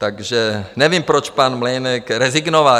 Takže nevím, proč pan Mlejnek rezignoval.